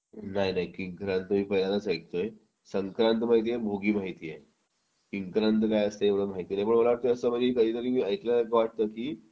नाही नाही किंक्रांत मी पहिल्यांदाच ऐकतोय संक्रांत माहिती आहे भोगी माहिती आहे किंक्रांत काय असते हे मला माहिती नाही पण मला असं वाटतं कधीतरी मी ऐकलं आहे असं की